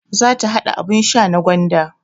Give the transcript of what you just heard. Za ta haɗa abun sha na gwanda